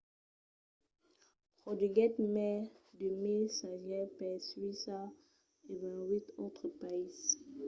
produguèt mai de 1 000 sagèls per suècia e 28 autres païses